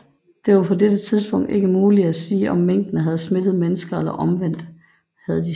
Det var på dette tidspunkt ikke muligt at sige om minkene havde smittet mennesker eller omvendt